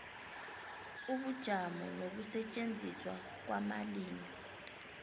ubujamo nokusetjenziswa kwamalimi